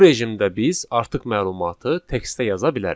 Bu rejimdə biz artıq məlumatı textə yaza bilərik.